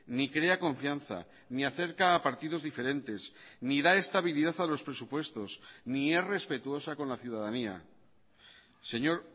ni crea confianza ni acerca a partidos diferentes ni da estabilidad a los presupuestos ni es respetuosa con la ciudadanía señor